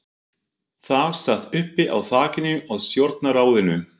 Það sat uppi á þakinu á stjórnarráðinu.